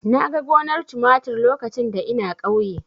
Na ga gonar tumatir lokacin da ina ƙauye.